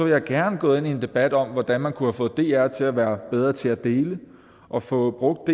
jeg gerne gå ind i en debat om hvordan man kunne have fået dr til at være bedre til at dele og fået brugt